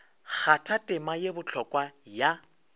kgatha tema ye bohlokwa ya